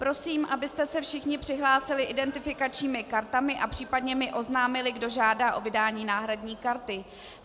Prosím, abyste se všichni přihlásili identifikačními kartami a případně mi oznámili, kdo žádá o vydání náhradní karty.